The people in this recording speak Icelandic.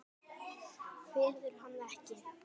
Kveður hann ekki.